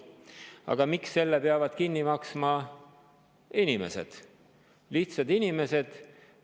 Aga miks selle peavad kinni maksma inimesed, lihtsad inimesed?